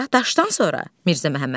Sonra daşdan sonra.